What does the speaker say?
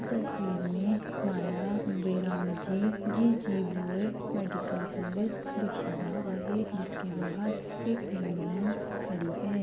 तस्वीर मे माला ब्येरमजी जीजीभॉय मेडिकल कॉलेज दिक्षीता आहे. जिसके बाहर एक एम्ब्युलेन्स खड़ी है.